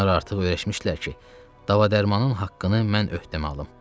Onlar artıq öyrəşmişdilər ki, dava-dərmanın haqqını mən öhdəmə alım.